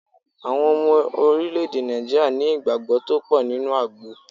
Àwọn Ọmọ Orílè-èdè Nàìjíríà ní ìgbàgbó tó pò nínú àgbo